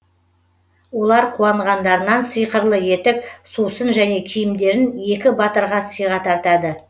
олар қуанғандарынан сиқырлы етік сусын және киімдерін екі батырға сыйға тартады